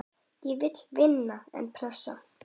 Ég vil vinna, en pressa?